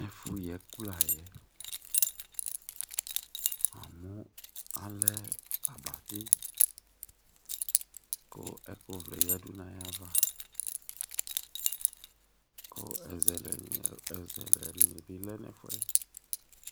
Ɛfʋ yi ɛkʋ layɛ Amʋ alɛ abati kʋ ɛkʋ vlɛ yadu nʋ ayʋ ava kʋ ɛzɛlɛ ni bi lɛ nʋ ɛfʋɛ